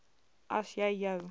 as jy jou